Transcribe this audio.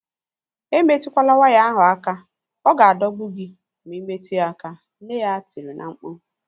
Emetukwala waya ahu aka! Ọ ga-adọgbu gị ma imetụ ya aka, nne ya tiri na-mkpu